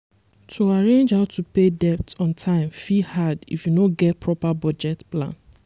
to arrange how to pay debt on time fit hard if you no get proper budget plan